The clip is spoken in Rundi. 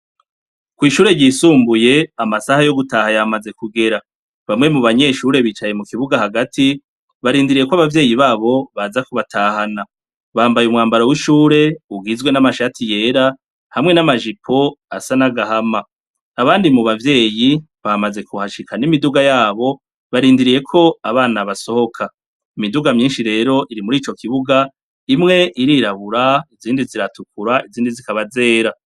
Ko'ishure ryisumbuye amasaha yo gutaha yamaze kugera bamwe mu banyeshure bicaye mu kibuga hagati barindiriye ko abavyeyi babo baza kubatahana bambaye umwambaro w'ishure uwizwe n'amashati yera hamwe n'amajipo asa n'agahama abandi mu bavyeyi bamaze kuhashika n'imiduga yabo barindiriyeko abana basohoka imiduga myinshi rero iri muri ico kibuga imwe irirabura izindi ziratukura izindi zikaba zera.